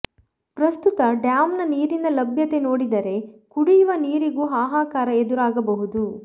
ಪ್ರಸ್ತುತ ಡ್ಯಾಂನ ನೀರಿನ ಲಭ್ಯತೆ ನೋಡಿದರೆ ಕುಡಿಯುವ ನೀರಿಗೂ ಹಾಹಾಕಾರ ಎದುರಾಗಬಹುದು